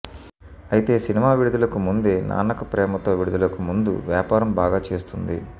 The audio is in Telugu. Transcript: అయితే సినిమా విడుదలకు ముందే నాన్నకు ప్రేమతో విడుదలకు ముందు వ్యాపారం బాగా చేస్తుంది